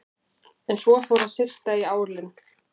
En svo fór að syrta í álinn.